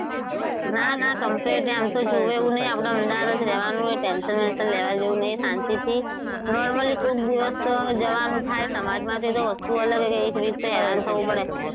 કે કેવા છે નાં ના complete છે આમ તો જોવે એવું નથી આપડે અમદાવાદ જ રહેવાનું છે tension બેન્સન લેવા જેવું નથી શાંતિથી normally કોક દિવસ જવાનું થાય સમાજમાં તે તો વસ્તુ અલગ છે કે એક week તો હેરાન થવું પડે.